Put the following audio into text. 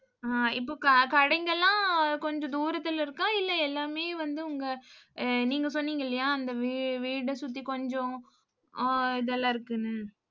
அஹ் இப்ப க~ கடைங்கெல்லாம், கொஞ்சம் தூரத்துல இருக்கா இல்லை எல்லாமே வந்து உங்க நீங்க சொன்னீங்க இல்லையா அந்த வீ~ வீடு சுத்தி கொஞ்சம் ஆஹ் இதெல்லாம் இருக்குன்னு.